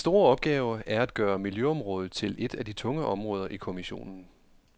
Den store opgave er at gøre miljøområdet til et af de tunge områder i kommissionen.